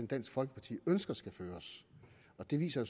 dansk folkeparti ønsker skal føres og det viser